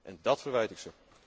En dat verwijt ik